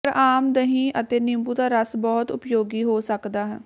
ਪਰ ਆਮ ਦਹੀਂ ਅਤੇ ਨਿੰਬੂ ਦਾ ਰਸ ਬਹੁਤ ਉਪਯੋਗੀ ਹੋ ਸਕਦਾ ਹੈ